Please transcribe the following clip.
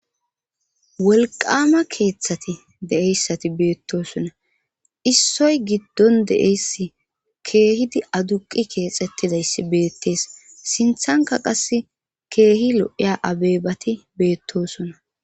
wolqama keeththati de7eyssati beettosonna issoy giddon de'eyssi keehidi aduqi keexettidayssi beettees sinthanka qas keehi lo7iya abebati beettosona